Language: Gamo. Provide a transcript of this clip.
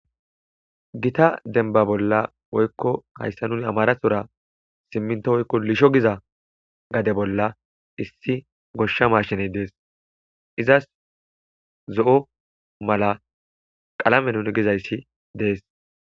gita denba bolla woykko hayssa nuni amarathora simminto woykko lisho giza gade bolla issi goshsha mashiney dees izas zo7o mala qalame nuni gizayssi dees